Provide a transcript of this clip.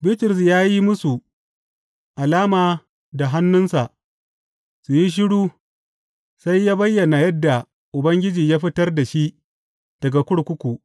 Bitrus ya yi musu alama da hannunsa su yi shiru sai ya bayyana yadda Ubangiji ya fitar da shi daga kurkuku.